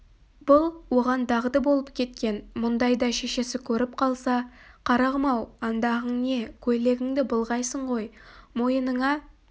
бұл оған дағды болып кеткен мұндайда шешесі көріп қалса қарағым-ау андағың не көйлегіңді былғайсың ғой мойыныңа